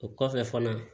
O kɔfɛ fana